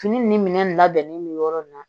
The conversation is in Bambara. Fini ni minɛn labɛnnen bɛ yɔrɔ min na